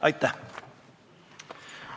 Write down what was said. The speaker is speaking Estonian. Aitäh!